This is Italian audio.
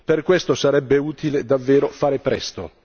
Per questo, sarebbe utile davvero fare presto.